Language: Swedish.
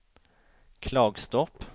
Klagstorp